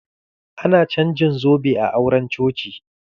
Ana canjin zobe a auren coci.